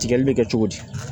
Tigɛli bɛ kɛ cogo di